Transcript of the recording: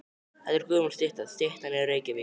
Þetta er gömul stytta. Styttan er í Reykjavík.